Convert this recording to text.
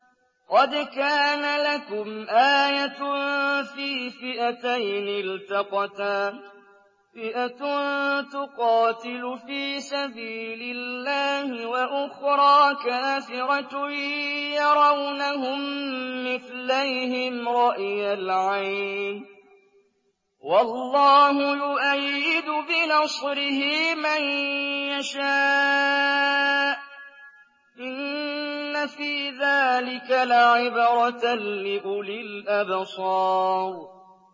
قَدْ كَانَ لَكُمْ آيَةٌ فِي فِئَتَيْنِ الْتَقَتَا ۖ فِئَةٌ تُقَاتِلُ فِي سَبِيلِ اللَّهِ وَأُخْرَىٰ كَافِرَةٌ يَرَوْنَهُم مِّثْلَيْهِمْ رَأْيَ الْعَيْنِ ۚ وَاللَّهُ يُؤَيِّدُ بِنَصْرِهِ مَن يَشَاءُ ۗ إِنَّ فِي ذَٰلِكَ لَعِبْرَةً لِّأُولِي الْأَبْصَارِ